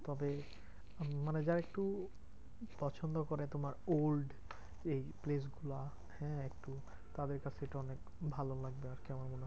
তবে মানে যারা একটু পছন্দ করে তোমার old এই place গুলা হ্যাঁ একটু তাদের কাছে এটা অনেক ভালো লাগবে আরকি আমার মনে হয়।